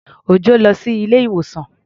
Òjọ́ lọ sí ilé-ìwòsàn.